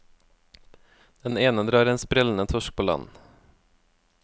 Den ene drar en sprellende torsk på land.